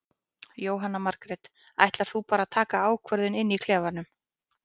Jóhanna Margrét: Ætlar þú bara að taka ákvörðun inn í klefanum?